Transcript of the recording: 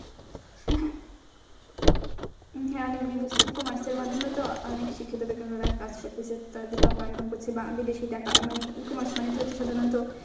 হ্যাঁ অনেক বিদেশী E-comers এর মাধ্যমে তো অনেক শিক্ষিত বেকাররা কাজ করতেছে টাকা income করছে বা বিদেশি টাকা মানে E-comers মানেই তো হচ্ছে সাধারণত